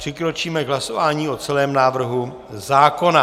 Přikročíme k hlasování o celém návrhu zákona.